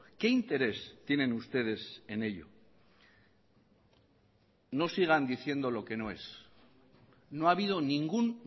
qué interés tienen ustedes en ello no sigan diciendo lo que no es no ha habido ningún